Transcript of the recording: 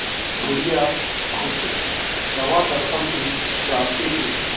बुढ़िया खूसट दवादरपन भी जानती थी